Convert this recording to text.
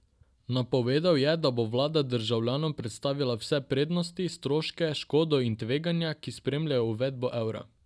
Napovedal je, da bo vlada državljanom predstavila vse prednosti, stroške, škodo in tveganja, ki spremljajo uvedbo evra.